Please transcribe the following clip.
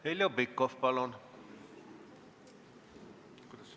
Heljo Pikhof, palun!